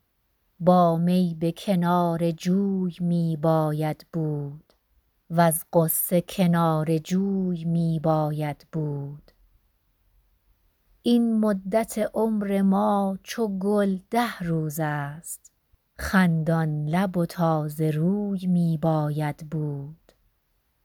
با می به کنار جوی می باید بود وز غصه کناره جوی می باید بود این مدت عمر ما چو گل ده روز است خندان لب و تازه روی می باید بود